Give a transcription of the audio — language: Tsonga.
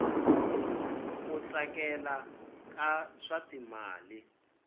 ku tsakela ka swa timali